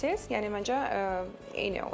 Yəni məncə eyni olacaq.